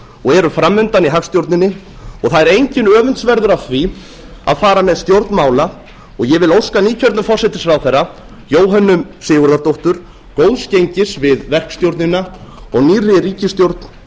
og eru fram undan í hagstjórninni og það er enginn öfundsverður af því að fara með stjórn mála og ég vil óska nýkjörnum forsætisráðherra jóhönnu sigurðardóttur góðs gengis við verkstjórnina og nýrri ríkisstjórn